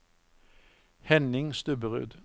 Henning Stubberud